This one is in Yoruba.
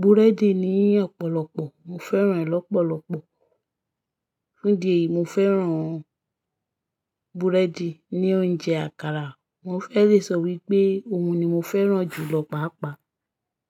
búrẹ́dì ni ọ̀pọ̀lọpọ̀, mo fẹ́ràn ẹ̀ lọ́pọ̀lọpọ̀. Fún idi eyi, mo fẹ́ràn búrẹ́dì ni oúnjẹ àkàrà. Mo fẹ́ le sọ wípé òun ni mo fẹ́ràn jù lọ pàápàá.